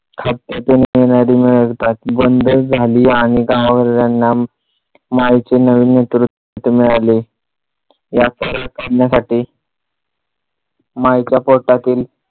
येणारी मिळवितात बंद झाली आणि गाव वाल्यांना माईचे नवे नेतृत्व मिळाले. या करण्यासाठी माईच्या पोटातील